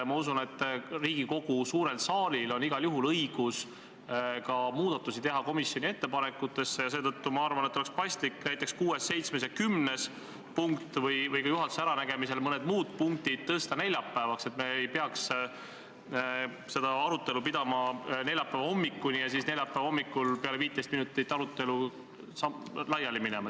Ma usun, et Riigikogu suurel saalil on igal juhul õigus komisjoni ettepanekutesse muudatusi teha ja seetõttu ma arvan, et oleks paslik näiteks 6., 7., ja 10. punkt või juhatuse äranägemisel mõned muud punktid tõsta neljapäevale, et me ei peaks kolmapäevast arutelu pidama neljapäeva hommikuni ja siis neljapäeva hommikul peale 15 minutit arutelu laiali minema.